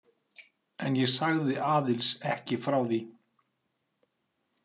En ég sagði Aðils ekki frá því.